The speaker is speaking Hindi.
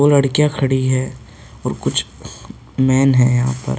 वो लड़कियां खड़ी हैं और कुछ मेन है यहाँ पर।